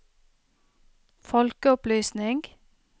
folkeopplysning